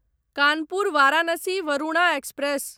Kanpur Varanasi Varuna express